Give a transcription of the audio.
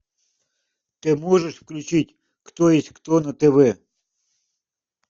ты можешь включить кто есть кто на тв